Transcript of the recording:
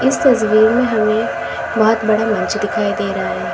इस तस्वीर में हमें बहुत बड़ा मंच दिखाई दे रहा है।